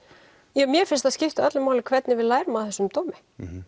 jú mér finnst það skipta öllu máli hvernig við lærum af þessum dómi